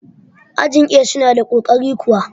ajin A suna da ƙoƙari kuwa?